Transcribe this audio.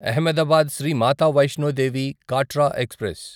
Ahmedabad Shri Mata Vaishno Devi Katra express